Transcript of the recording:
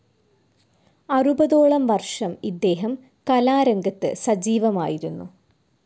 അറുപതോളം വർഷം ഇദ്ദേഹം കലാരംഗത്ത് സജീവമായിരുന്നു.